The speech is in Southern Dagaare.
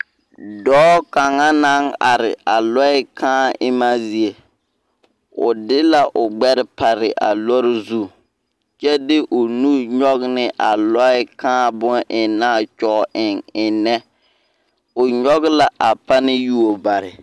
Dɔɔ kaŋa naŋ are a lɔɛ kaa emmaa zie o de la o gbɛre pare a lɔɔre zu kyɛ de o nu nyɔge ne a lɔɛ kaa bon aŋnaa a kyɔge eŋ eŋnɛ o nyɔge la a pane yuo bare.